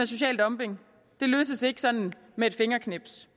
social dumping løses ikke sådan med et fingerknips